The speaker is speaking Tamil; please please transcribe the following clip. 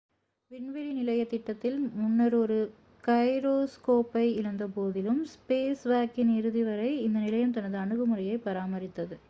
விண்வெளி நிலைய திட்டத்தில் முன்னர் ஒரு கைரோஸ்கோப்பை இழந்தபோதிலும் ஸ்பேஸ்வாக்கின் இறுதி வரை இந்த நிலையம் தனது அணுகுமுறையைப் பராமரித்தது